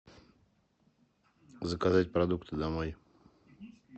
заказать продукты домой